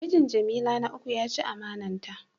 Mijin jamila na uku ya chi amana ta.